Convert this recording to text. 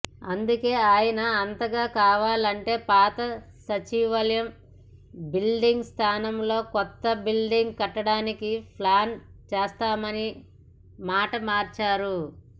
అందుకే ఆయన అంతగా కావాలంటే పాత సచివాలయ బిల్డింగ్ స్థానంలో కొత్త బిల్డింగ్ కట్టడానికి ప్లాన్ చేస్తామని మాట మార్చారు